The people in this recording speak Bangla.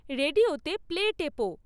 রেডিওতে প্লে টেপো